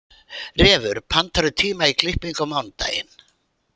Refur, pantaðu tíma í klippingu á mánudaginn.